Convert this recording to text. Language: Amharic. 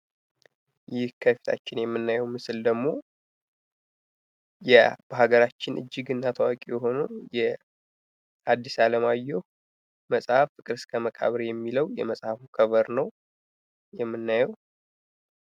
ይህ ከፊታችን የምናየው ምስል ደግሞ የሀገራችን እጂግ እና ታዋቂ የሆነው የሀዲስ አለማየሁ መጽሀፍ ፍክር እስከ መቃብር የሚለው የመጽሃፉ ከበር ነው። የምናየው።